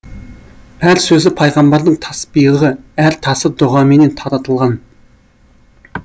әр сөзі пайғамбардың тасбиығы әр тасы дұғаменен таратылған